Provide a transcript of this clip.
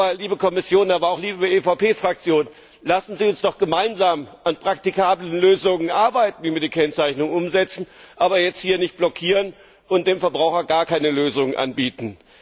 Aber, liebe Kommission, aber auch liebe EVP Fraktion Lassen Sie uns doch gemeinsam an praktikablen Lösungen arbeiten, wie wir die Kennzeichnung umsetzen, aber jetzt hier nicht blockieren und dem Verbraucher gar keine Lösungen anbieten.